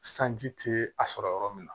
Sanji tɛ a sɔrɔ yɔrɔ min na